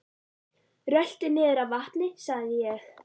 Rölti niður að vatni sagði ég.